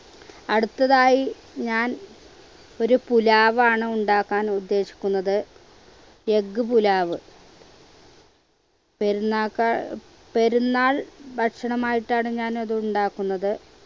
അടുത്തതായി ഞാൻ ഒരു pulav ആണ് ഉണ്ടാക്കാൻ ഉദ്ദേശിക്കുന്നത് egg pulav പെരുന്നാക്കാ പെരുന്നാൾ ഭക്ഷണമായിട്ടാണ് ഞാൻ അതുണ്ടാക്കുന്നത്